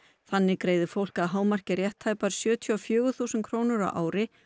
þannig greiðir fólk að hámarki rétt tæpar sjötíu og fjögur þúsund krónur á ári